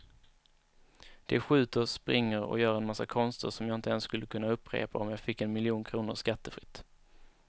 De skjuter, springer och gör en massa konster som jag inte ens skulle kunna upprepa om jag fick en miljon kronor skattefritt.